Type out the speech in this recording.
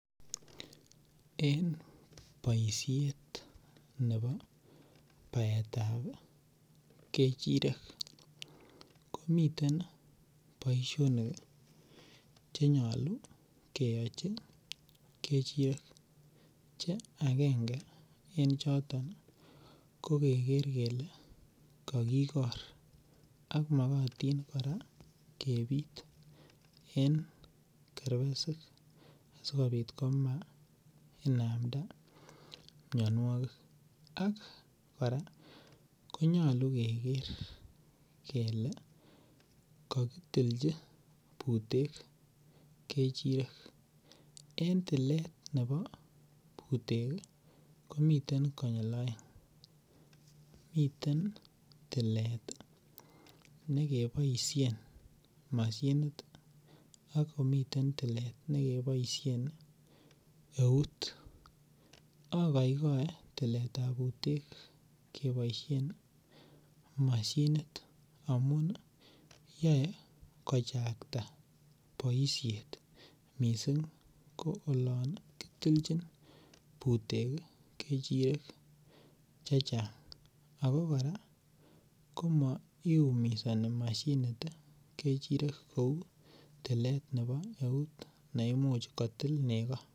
En boisiet nebo baetab kechirek. Komiten boisionik ih cheyache keyachi che agenge en choton ih , ko keker kele kokikor ak mokotin kora kebit , en kerbesik asikobit komainamda mianogik ak kora ih konyalu keker kele kakitilchi butek kechirek. En tiletab butek komi konyil aeng, miten toilet nekiboisien moshinit ih, akomiten tilet nebo euut. Agoigae tiletab butek keboisien mashinit amuun ih yoe kochakta boisiet missing ko olan ih kitilchin butek kechirek chechang Ako kora ih komaiumisani mashinit kechiriet kouu tlet nebo euut neimuch kotil nego.